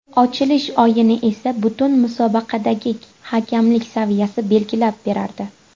Ochilish o‘yini esa butun musobaqadagi hakamlik saviyasini belgilab berardi.